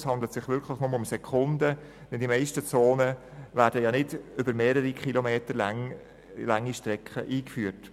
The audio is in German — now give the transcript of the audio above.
Es handelt sich wirklich nur um Sekunden, denn die meisten Zonen werden nicht über mehrere Kilometer lange Strecken eingeführt.